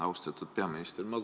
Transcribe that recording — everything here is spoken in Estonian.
Austatud peaminister!